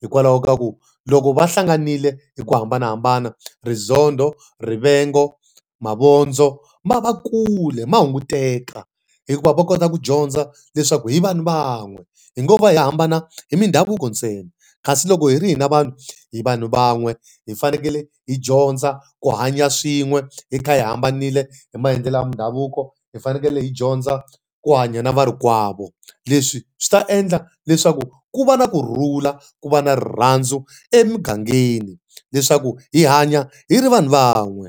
Hikwalaho ka ku loko va hlanganile hi ku hambanahambana rizondho, rivengo, mavondzo, ma va kule, ma hunguteka hikuva va kota ku dyondza leswaku hi vanhu van'we. Hi ngo va hi hambana hi mindhavuko ntsena, kasi loko hi ri hina vanhu hi vanhu van'we, hi fanekele hi dyondza ku hanya swin'we hi kha hi hambanile hi maendlelo mindhavuko, hi fanekele hi dyondza ku hanya na varikwavo. Leswi swi ta endla leswaku ku va na kurhula, ku va na rirhandzu emugangeni. Leswaku hi hanya hi ri vanhu van'we.